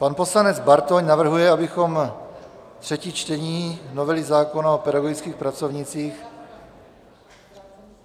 Pan poslanec Bartoň navrhuje, abychom třetí čtení novely zákona o pedagogických pracovnících...